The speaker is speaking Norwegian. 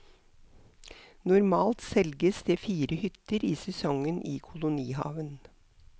Normalt selges det fire hytter i sesongen i kolonihaven.